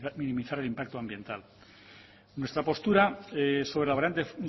para minimizar el impacto nuestra postura sobre la variante